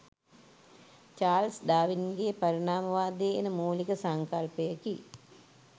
Charles ඩාවින්ගේ පරිණාමවාදයේ එන මූලික සංකල්පයකි